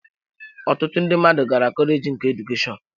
Ọtụtụ ndị mmadụ gara kọleji nke Edukeshọn